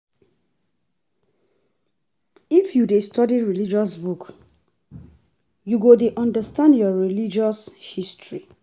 If you dey study religious books you you go dey understand your religious history